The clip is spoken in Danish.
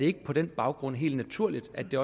ikke på den baggrund helt naturligt at det